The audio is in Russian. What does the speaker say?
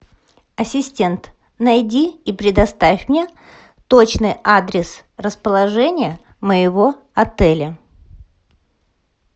ассистент найди и предоставь мне точный адрес расположения моего отеля